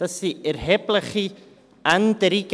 Das sind erhebliche Änderungen.